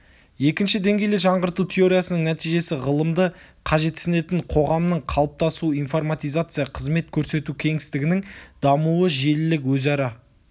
екінші деңгейлі жаңғырту теориясының нәтижесі ғылымды қажетсінетін қоғамның қалыптасуы информатизация қызмет көрсету кеңістігінің дамуы желілік өзара